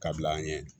Ka bila an ɲɛ